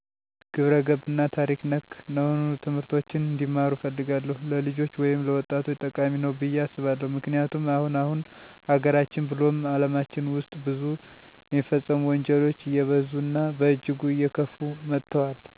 ግብረገብ እና ታሪክ ነክ ነሆኑ ትምህርቶችን እንዲማሩ እፈልጋለሁ። ለልጆች ወይም ለወጣቶቸ ጠቃሚ ነዉ ብየ አስባለሁ። ምክንያቱም አሁን አሁን ሀገራችን ብሉም አለማችን ዉስጥ ብዙ የሚፈጸሙ ወንጀሎች አየበዙ እና በእጅጉ አየከፉ መተወል። ለዚህ ደግሞ ከታች ክላስ መሰራት ያለበን ይመስለኛል። ሰዉ አዋዋሉን ይመስላል ይባላል በሀገራችን አባባል፦ እናም የሁሉም ሰዉ መሰረቱ ትምህርትቤት በመሆኑ ከኬጅ ጀምሮ እስከ ከፍተኛ ድግሪ ቢሰጥ ወጣቱ መከባበር፣ መደጋገፍ፣ አንዱ ለአንዱ መተሳሰብን ብሉም ሕዝቡን እና ሐገሩን ወዳድ የሆነ ትዉልድ እናፈራለን የሚል እምነት አለኝ። በዛዉም የደሮ ታሪካችን ለወደፊቱ ወሳኝ ስለሆነ የአሁኑ ትዉልድ ከድሮ አባቶቻችን ቢማር ብየ አስባለሁ የፊቱ ከሌለ የለም የዃላዉ።